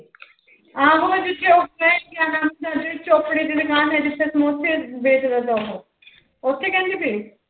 ਆਹੋ ਜਿੱਥੇ ਉਹ ਚੋਪੜੇ ਦੀ ਦੁਕਾਨ ਹੈ ਜਿੱਥੇ ਸਮੋਸੇ ਵੇਚਦਾ ਉਹ ਉੱਥੇ ਕਹਿੰਦੀ ਪਈ।